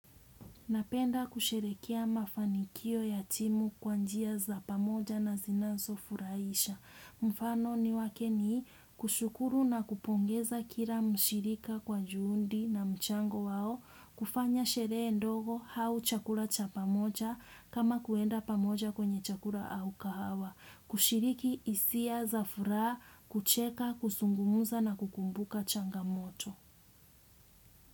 Napenda kusherehekea mafanikio ya timu kwa njia za pamoja na zinazo furahisha. Mfano wake ni kushukuru na kupongeza kila mshirika kwa juhudi na mchango wao. Kufanya sherehe ndogo au chakula cha pamoja kama kuenda pamoja kwenye chakula au kahawa. Kushiriki hisia za furaha kucheka, kuzungumza na kukumbuka changamoto.